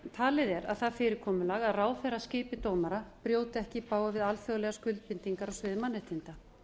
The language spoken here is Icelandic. talið er að það fyrir komulag að ráðherra skipi dómara brjóti ekki í bága við alþjóðlegar skuldbindingar á sviði mannréttinda